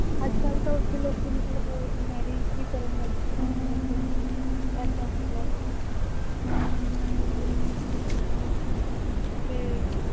ਅੱਜ ਕੱਲ੍ਹ ਤਾਂ ਉੱਥੇ ਲੋਕੀ ਮਤਲਬ marriage ਵੀ ਕਰਨ ਲੱਗ ਗਏ ਹੈ ਆਪਣੇ ਬੱਚਿਆਂ ਦੀ, ਏਦਾਂ ਹੈਗਾ ਬਹੁਤ ਵਧੀਆ ਤੇ